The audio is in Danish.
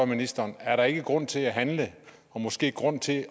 ministeren er der ikke grund til at handle og måske grund til